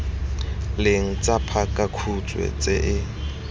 leng tsa pakakhutshwe tse e